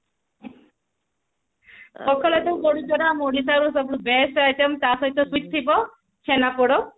ପଖାଳ ଭାତ କୁ ବଢିଚୁରା ଆମ ଓଡିଶା ର ସବୁଠୁ best item ତ ସହିତ fish ଥିବ ଛେନାପୋଡ